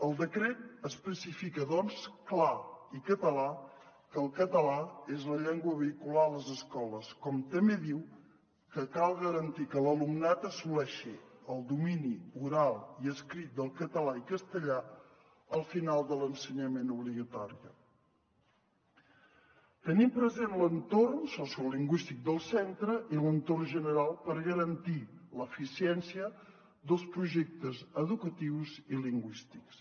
el decret especifica doncs clar i català que el català és la llengua vehicular a les escoles com també diu que cal garantir que l’alumnat assoleixi el domini oral i escrit del català i castellà al final de l’ensenyament obligatori tenint present l’entorn sociolingüístic del centre i l’entorn general per garantir l’eficiència dels projectes educatius i lingüístics